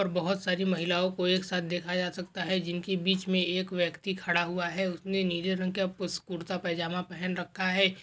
और बहूत सारी महिलाओ को एक साथ देखा जा सकता है जिनके बीच मे एक व्यक्ती खड़ा हुआ है उसने नीले रंग का कुड़ता पाजामा पहन रखा है।